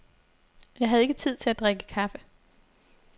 Jeg havde ikke tid til at drikke kaffe.